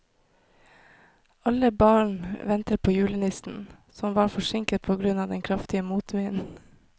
Alle barna ventet på julenissen, som var forsinket på grunn av den kraftige motvinden.